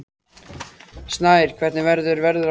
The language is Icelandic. Snær, hvernig verður veðrið á morgun?